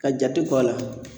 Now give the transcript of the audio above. Ka jate bɔ a la.